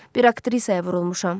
Bir aktrisaya vurulmuşam.